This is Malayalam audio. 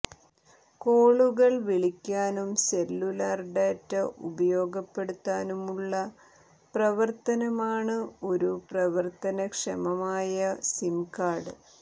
കോളുകൾ വിളിക്കാനും സെല്ലുലാർ ഡാറ്റ ഉപയോഗപ്പെടുത്താനുമുള്ള പ്രവർത്തനമാണ് ഒരു പ്രവർത്തനക്ഷമമായ സിം കാർഡ്